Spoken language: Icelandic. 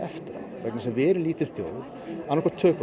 vegna þess að við erum lítil þjóð annað hvort tökum